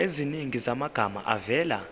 eziningi zamagama avela